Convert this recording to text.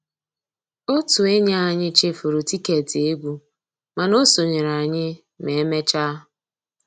Ótú ényí ànyị́ chèfùrú tìkétì égwu mànà ó sonyééré ànyị́ mà emeéchaa